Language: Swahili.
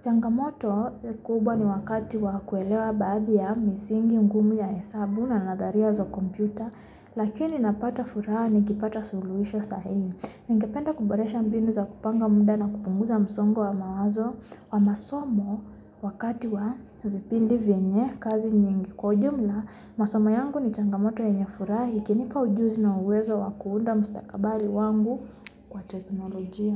Changamoto kubwa ni wakati wa kuelewa baadhi ya misingi ngumu ya hesabu na nadharia za kompyuta, lakini napata furaha nikipata suluhisho sahihi. Ningependa kuboresha mbinu za kupanga muda na kupunguza msongo wa mawazo, wa masomo wakati wa vipindi vyenye kazi nyingi kwa ujumla. Masomo yangu ni changamoto yenye furahi, ikinipa ujuzi na uwezo wa kuunda mustakabali wangu kwa teknolojia.